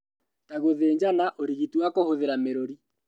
Ta gũthĩnjana, ũrigiti wa kũhũthĩra mĩrũrĩ